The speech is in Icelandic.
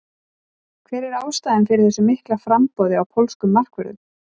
Hver er ástæðan fyrir þessu mikla framboði á pólskum markvörðum?